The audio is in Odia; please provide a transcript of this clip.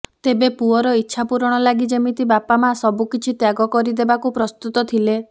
ତେବେ ପୁଅର ଇଛା ପୂରଣ ଲାଗି ଯେମିତି ବାପା ମା ସବୁକିଛି ତ୍ୟାଗ କରିଦେବାକୁ ପ୍ରସ୍ତୁତ ଥିଲେ